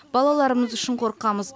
балаларымыз үшін қорқамыз